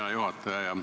Hea juhataja!